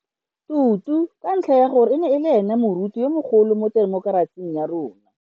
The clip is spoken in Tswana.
Tutu ka ntlha ya gore e ne e le ene moruti yo mogolo mo temokerasing ya rona.